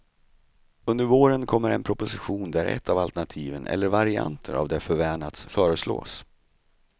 Under våren kommer en proposition där ett av alternativen eller varianter av det förvänats föreslås.